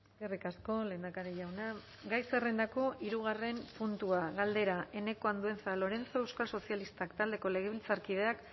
eskerrik asko lehendakari jauna gai zerrendako hirugarrena puntua galdera eneko andueza lorenzo euskal sozialistak taldeko legebiltzarkideak